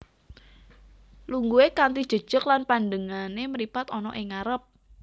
Lungguhe kanthi jejeg lan pandengane mripat ana ing ngarep